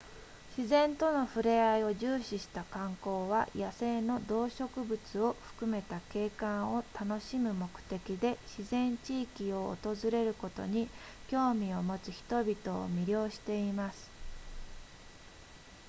自然との触れあいを重視した観光は野生の動植物を含めた景観を楽しむ目的で自然地域を訪れることに興味を持つ人々を魅了しています